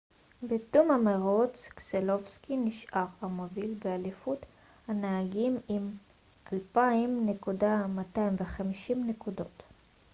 בתום המרוץ קסלובסקי נשאר המוביל באליפות הנהגים עם 2,250 נקודות